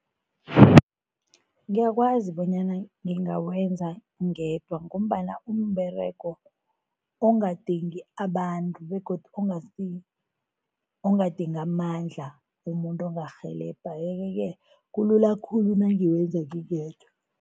Ngiyakwazi bonyana ngingawenza ngedwa ngombana kumberego ongadingi abantu begodu ongadingi amandla, umuntu ongarhelebha yeke-ke kulula khulu nangiwenza ngingedwa.